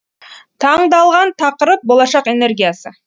таңдалған тақырып болашақ энергиясы